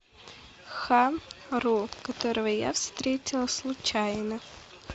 ха ру которого я встретила случайно